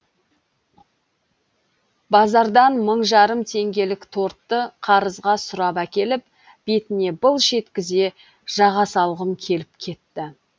базардан мың жарым теңгелік тортты қарызға сұрап әкеліп бетіне былш еткізе жаға салғым келіп кетті